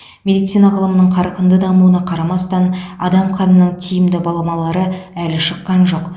медицина ғылымының қарқынды дамуына қарамастан адам қанының тиімді баламалары әлі шыққан жоқ